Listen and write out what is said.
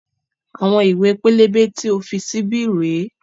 Àwọn ìwé pélébé tí o fi sí bí rèé